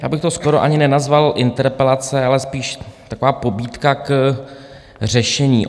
Já bych to skoro ani nenazval interpelace, ale spíš taková pobídka k řešení.